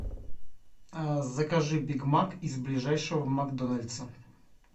закажи биг мак из ближайшего макдональдса